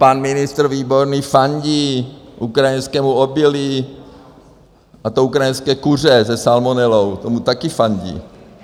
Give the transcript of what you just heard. Pan ministr Výborný fandí ukrajinskému obilí, a to ukrajinské kuře se salmonelou, tomu také fandí.